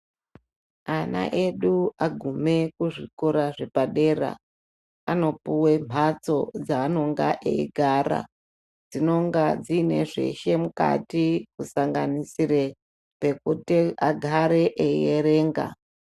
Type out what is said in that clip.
Ana edu agume kuzvikora zvepadera anopuwe mahatso dzaanonga eigara dzinonga dziine zveshe mukati kusanganisire pekuti agare eierenga.